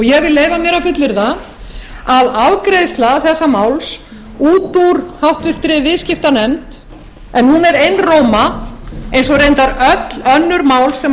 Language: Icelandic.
ég vil leyfa mér að fullyrða að afgreiðsla þessa máls út úr háttvirtur viðskiptanefnd en hún er einróma eins og reyndar öll önnur mál sem